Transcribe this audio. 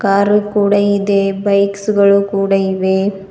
Car ಕೂಡ ಇದೆ bikes ಗಳು ಕೂಡ ಇವೆ.